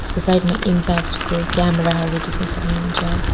यसको साइड मा इम्प्याक्ट को क्यामेरा हरू देख्नु सक्नुहुन्छ।